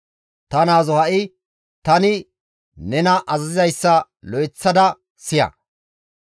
Ta naazoo! Ha7i tani nena azazizayssa lo7eththada siya.